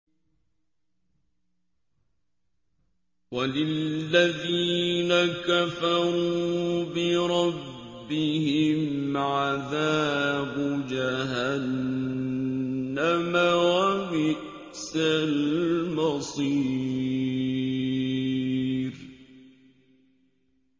وَلِلَّذِينَ كَفَرُوا بِرَبِّهِمْ عَذَابُ جَهَنَّمَ ۖ وَبِئْسَ الْمَصِيرُ